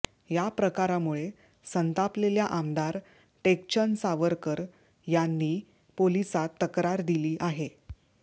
या प्रकारामुळे संतापलेल्या आमदार टेकचंद सावरकर यांनी पोलिसात तक्रार दिली आहे